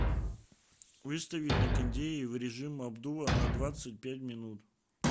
выставить на кондее в режим обдува на двадцать пять минут